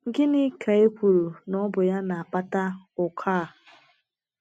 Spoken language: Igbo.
Gịnị ka e kwuru na ọ bụ ya na - akpata ụkọ a?